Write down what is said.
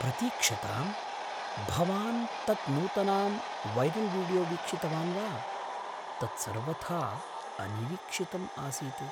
प्रतीक्षताम्, भवान् तत् नूतनां वैरल्वीडियो वीक्षितवान् वा? तत् सर्वथा अनिरीक्षितम् आसीत्।